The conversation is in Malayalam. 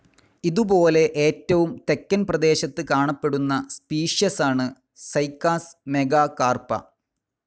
ഇതുപോലെ ഏറ്റവും തെക്കൻ പ്രദേശത്ത് കാണപ്പെടുന്ന സ്പീഷ്യസാണ് സൈക്കാസ് മേഘാകാർപ്പാ.